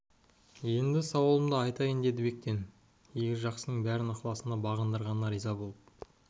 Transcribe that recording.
енді сауалымды айтайын деді бектен игі жақсының бәрін ықыласына бағындырғанына риза болып